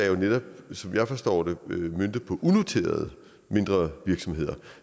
jo netop som jeg forstår det møntet på unoterede mindre virksomheder